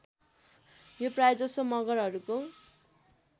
यो प्रायजसो मगरहरूको